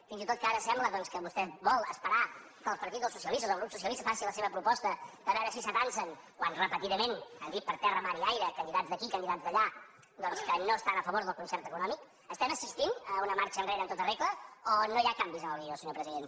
fins i tot ara que sembla doncs que vostè vol esperar que el partit dels socialistes el grup socialista faci la seva proposta a veure si t’atansen quan repetidament han dit per terra mar i aire candidats d’aquí candidats d’allà doncs que no estan a favor del concert econòmic estem assistint a una marxa enrere en tota regla o no hi ha canvis en el guió senyor president